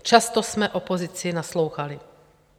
Často jsme opozici naslouchali.